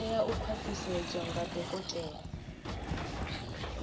tea u khwaṱhisedzwa nga dokotela